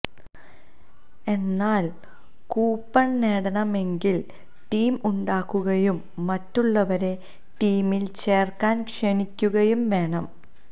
എന്നാല് കൂപ്പണ് നേടണമെങ്കില് ടീം ഉണ്ടാക്കുകയും മറ്റുളളവരെ ടീമില് ചേര്ക്കാന് ക്ഷണിക്കുകയും വേണം